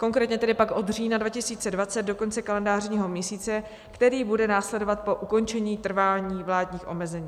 Konkrétně tedy pak od října 2020 do konce kalendářního měsíce, který bude následovat po ukončení trvání vládních omezení.